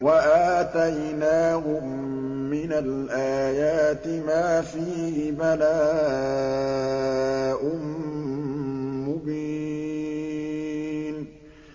وَآتَيْنَاهُم مِّنَ الْآيَاتِ مَا فِيهِ بَلَاءٌ مُّبِينٌ